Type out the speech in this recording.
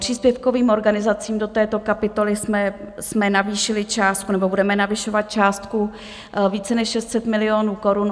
Příspěvkovým organizacím do této kapitolu jsme navýšili částku, nebo budeme navyšovat částku více než 600 milionů korun.